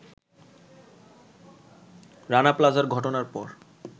রানা প্লাজার ঘটনার পর